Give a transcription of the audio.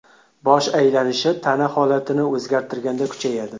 Bosh aylanishi tana holatini o‘zgartirganda kuchayadi.